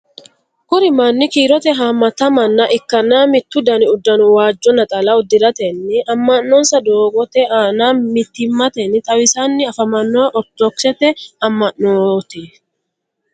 kuri manni kiirote haamata manna ikkanna mittu dani uddanno waajjo naxala uddiratenni ama'nonsa doogote aana mittimatenni xawisanni afamanno ortodoxete amanaanoti.